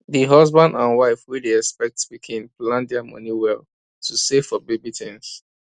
d husband and wife wey dey expect pikin plan dia money well to save for baby things